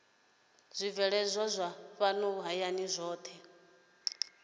zwibveledzwa zwa fhano hayani zwohe